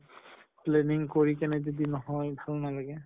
planning কৰি কিনে যদি নহয় ভাল নালাগে।